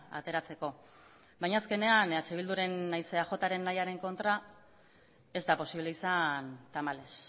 ateratzeko baina azkenean eh bilduren nahiz eajren nahiaren kontra ez da posible izan tamalez